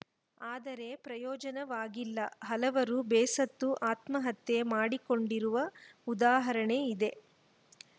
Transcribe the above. ಆದರೆ ಪ್ರಯೋಜನವಾಗಿಲ್ಲ ಹಲವರು ಬೇಸತ್ತು ಆತ್ಮಹತ್ಯೆ ಮಾಡಿಕೊಂಡಿರುವ ಉದಾಹರಣೆ ಇದೆ